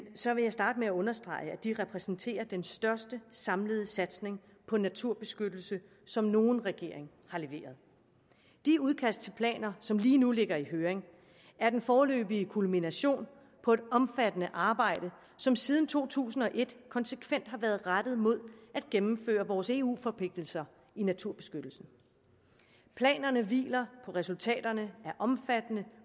så vil jeg starte med at understrege at de repræsenterer den største samlede satsning på naturbeskyttelse som nogen regering har leveret de udkast til planer som lige nu ligger i høring er den foreløbige kulmination på et omfattende arbejde som siden to tusind og et konsekvent har været rettet mod at gennemføre vores eu forpligtelser i naturbeskyttelsen planerne hviler på resultaterne af omfattende